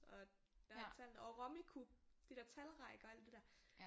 Og der er tallene og Rummikub de der talrækker og alt det der